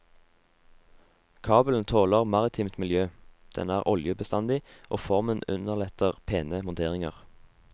Kabelen tåler maritimt miljø, den er oljebestandig, og formen underletter pene monteringer.